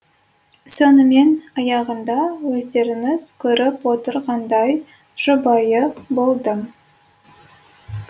сонымен аяғында өздеріңіз көріп отырғандай жұбайы болдым